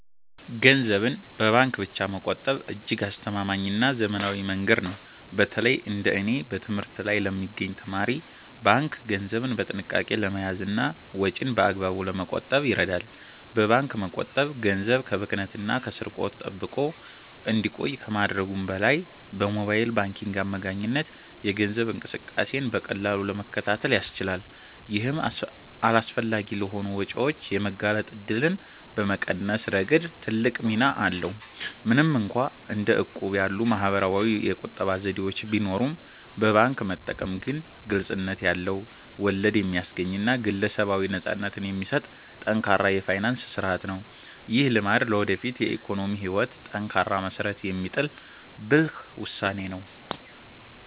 ገንዘብን በባንክ ብቻ መቆጠብ እጅግ አስተማማኝና ዘመናዊ መንገድ ነው። በተለይ እንደ እኔ በትምህርት ላይ ለሚገኝ ተማሪ፣ ባንክ ገንዘብን በጥንቃቄ ለመያዝና ወጪን በአግባቡ ለመቆጣጠር ይረዳል። በባንክ መቆጠብ ገንዘብ ከብክነትና ከስርቆት ተጠብቆ እንዲቆይ ከማድረጉም በላይ፣ በሞባይል ባንኪንግ አማካኝነት የገንዘብ እንቅስቃሴን በቀላሉ ለመከታተል ያስችላል። ይህም አላስፈላጊ ለሆኑ ወጪዎች የመጋለጥ እድልን በመቀነስ ረገድ ትልቅ ሚና አለው። ምንም እንኳን እንደ እቁብ ያሉ ማኅበራዊ የቁጠባ ዘዴዎች ቢኖሩም፣ በባንክ መጠቀም ግን ግልጽነት ያለው፣ ወለድ የሚያስገኝና ግለሰባዊ ነፃነትን የሚሰጥ ጠንካራ የፋይናንስ ሥርዓት ነው። ይህ ልማድ ለወደፊት የኢኮኖሚ ሕይወት ጠንካራ መሠረት የሚጥል ብልህ ውሳኔ ነው።